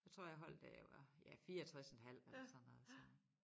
Jeg tror jeg holdt da jeg var ja 64 en halv eller sådan noget så